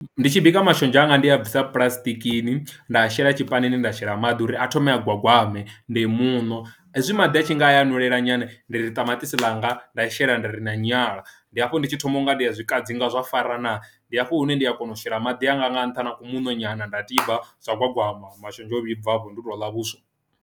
Ndi tshi bika mashonzha anga ndi a bvisa puḽasitikini nda shela tshipanini nda shela maḓi uri a thome a gwagwame nde muṋo hezwi maḓi a tshinga a fhelela nyana ndi ri ṱamaṱisi langa nda shela nda ri na nyala, ndi hafho nditshi thoma u nga ndi ya zwi kadzinga zwa fara naa ndi hafho hune ndi a kona u shela maḓi anga nga ntha na ku muṋo nyana nda tiba zwa gwagwama mashonzha a vhibva hafho ndi u to ḽa vhuswa.